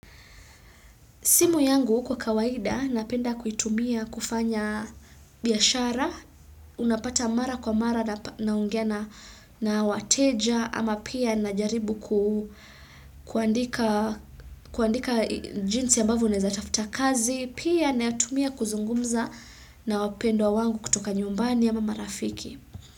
Simu yangu kwa kawaida, napenda kuitumia kufanya biashara, unapata mara kwa mara naongea na wateja, ama pia najaribu kuandika jinsi ambavyo unaeza tafuta kazi, pia na tumia kuzungumza na wapendwa wangu kutoka nyumbani ama mama rafiki.